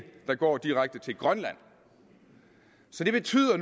der går direkte til grønland det betyder